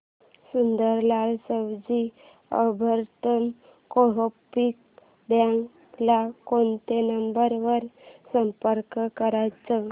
Sundarlal Savji urban co-op bank ला कोणत्या number वर संपर्क करायचा